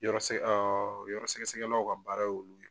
Yɔrɔ sɛ yɔrɔ sɛgɛ sɛgɛlaw ka baara y'olu